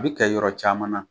A bi kɛ yɔrɔ caman na